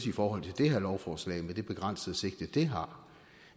i forhold til det her lovforslag med det begrænsede sigte det har